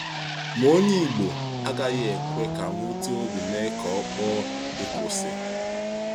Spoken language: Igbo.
Ma onye Ìgbò agaghị ekwe ka mwute n’obi mee ka ọ kpọọ ìkwụsị.